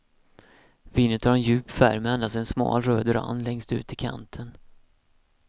Vinet har en djup färg med endast en smal röd rand längst ut i kanten.